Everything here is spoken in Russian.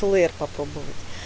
плеер попробовать